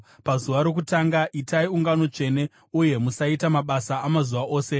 Pazuva rokutanga itai ungano tsvene uye musaita mabasa amazuva ose.